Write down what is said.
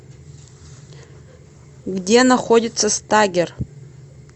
где находится стагер